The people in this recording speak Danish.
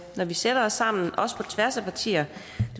når vi sætter os sammen også på tværs af partier